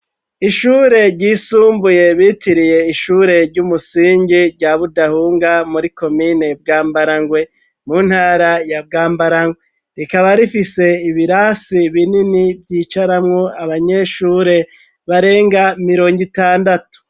ishure ryisumbuye bitiriye ishure ry'umusingi rya Budahunga muri komine Bwambarangwe mu ntara ya Bwambarange, rikaba rifise ibirasi binini vyicaramwo abanyeshure barenga mirongo itandatu.